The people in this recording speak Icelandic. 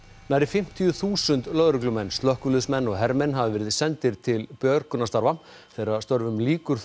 nærri fimmtíu þúsund lögreglumenn slökkviliðsmenn og hermenn hafa verið sendir til björgunarstarfa þeirra störfum lýkur